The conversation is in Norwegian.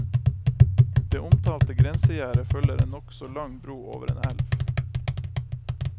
Det omtalte grensegjerdet følger en nokså lang bro over en elv.